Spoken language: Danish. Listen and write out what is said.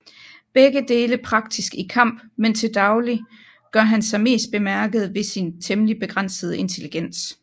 Begge dele praktisk i kamp men til dagligt gør han sig mest bemærket ved sin temmelig begrænsede intelligens